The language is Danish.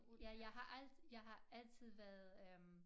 Ja jeg har al jeg har altid været øh